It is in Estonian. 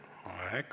Aeg!